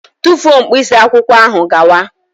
Tufuo mkpịsị akwụkwọ ahụ gawa!